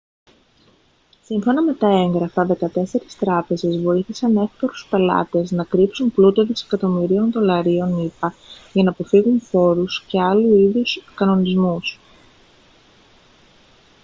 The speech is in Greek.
σύμφωνα με τα έγγραφα δεκατέσσερις τράπεζες βοήθησαν εύπορους πελάτες να κρύψουν πλούτο δισεκατομμυρίων δολαρίων ηπα για να αποφύγουν φόρους και άλλου είδους κανονισμούς